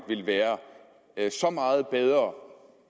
vil være så meget bedre